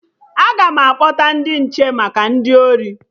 Aga m akpọta ndị nche maka ndị ori